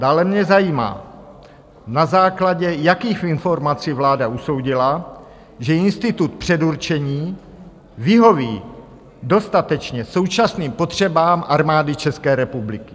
Dále mě zajímá, na základě jakých informací vláda usoudila, že institut předurčení vyhoví dostatečně současným potřebám Armády České republiky.